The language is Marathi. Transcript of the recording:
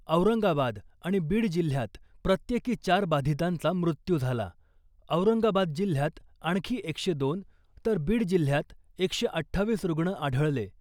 औरंगाबाद आणि बीड जिल्ह्यात प्रत्येकी चार बाधितांचा मृत्यू झाला , औरंगाबाद जिल्ह्यात आणखी एकशे दोन, तर बीड जिल्ह्यात एकशे अठ्ठावीस रुग्ण आढळले .